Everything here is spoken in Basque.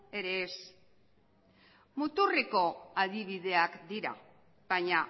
ere ez muturreko adibideak dira baina